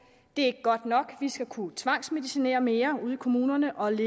det er ikke godt nok vi skal kunne tvangsmedicinere mere ude i kommunerne og